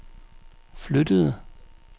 flyttede